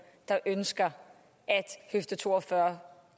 der ønsker at høfde to og fyrre